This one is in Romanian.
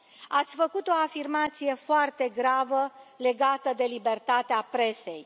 Ați făcut o afirmație foarte gravă legată de libertatea presei.